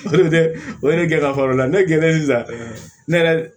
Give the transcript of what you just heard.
O de gɛlɛya fɔlɔ la ne gɛrɛ sisan ne yɛrɛ